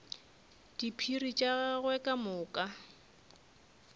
diphiri tša gagwe ka moka